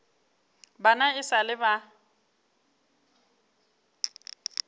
bana e sa le ba